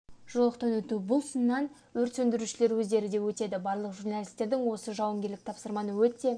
жолақтан өту бұл сыннан өрт сөндірушілер өздері де өтеді барлық журналистердің осы жауынгерлік тапсырманы өте